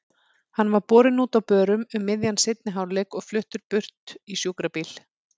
Hann var borinn út á börum um miðjan seinni hálfleik og fluttur burt í sjúkrabíl.